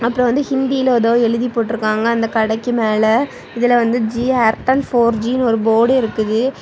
இதுல வந்து ஹிந்தில ஏதோ எழுதி போட்டுருக்காங்க அந்த கடைக்கு மேல இதுல வந்து ஜி ஏர்டெல் போர் ஜி னு ஒரு போர்டு இருக்குது.